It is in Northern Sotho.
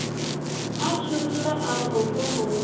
a tšhogile a re mohlomongwe